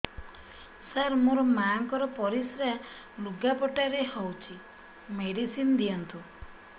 ସାର ମୋର ମାଆଙ୍କର ପରିସ୍ରା ଲୁଗାପଟା ରେ ହଉଚି ମେଡିସିନ ଦିଅନ୍ତୁ